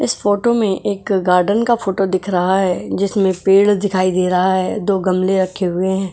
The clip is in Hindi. इस फोटो में एक गार्डन का फोटो दिख रहा है जिसमें पेड़ दिखाई दे रहा है दो गमले रखे हुए हैं।